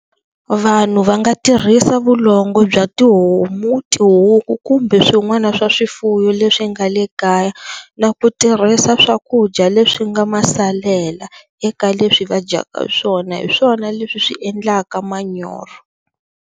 Vanhu va nga tirhisa vulongo bya tihomu tihuku kumbe swin'wana swa swifuwo leswi nga le kaya na ku tirhisa swakudya leswi nga ma salela eka leswi va dyaka swona hi swona leswi swi endlaka manyoro.